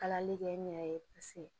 Kalali kɛ n yɛrɛ ye paseke